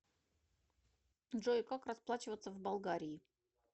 джой как расплачиваться в болгарии